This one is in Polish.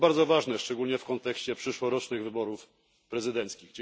To bardzo ważne, szczególnie w kontekście przyszłorocznych wyborów prezydenckich.